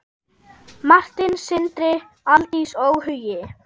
Martin, Sindri, Aldís og Hugi.